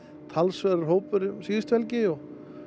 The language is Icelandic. talsverður hópur um síðustu helgi og